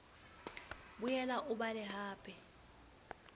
boela o o bale hape